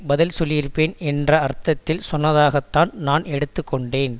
பதில் சொல்லியிருப்பேன் என்ற அர்த்தத்தில் சொன்னதாகத்தான் நான் எடுத்துக்கொண்டேன்